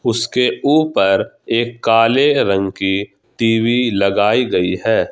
उसके ऊपर एक काले रंग की टी_वी लगाई गई है।